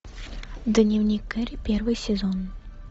дневник керри первый сезон